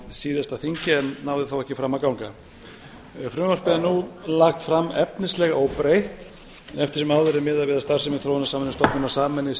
síðasta þingi en náði þá ekki fram að ganga þá frumvarpið er nú lagt fram efnislega óbreytt eftir sem áður er miðað við að starfsemi þróunarsamvinnustofnunar sameinist